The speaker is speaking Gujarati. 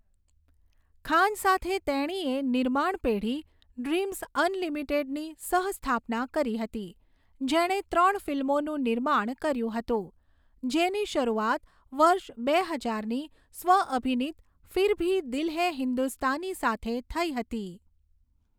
ખાન સાથે તેણીએ નિર્માણ પેઢી ડ્રિમ્ઝ અનલિમિટેડની સહ સ્થાપના કરી હતી, જેણે ત્રણ ફિલ્મોનું નિર્માણ કર્યું હતું, જેની શરૂઆત વર્ષ બે હજારની સ્વ અભિનીત 'ફિર ભી દિલ હૈ હિન્દુસ્તાની' સાથે થઈ હતી.